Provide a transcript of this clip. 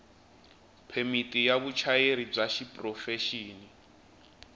phemiti ya vuchayeri bya xiprofexini